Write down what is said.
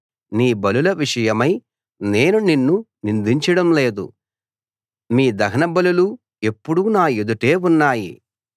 నీ బలుల విషయమై నేను నిన్ను నిందించడం లేదు మీ దహనబలులు ఎప్పుడూ నా ఎదుటే ఉన్నాయి